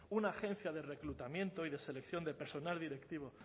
una agencia de reclutamiento y de selección de personal directivo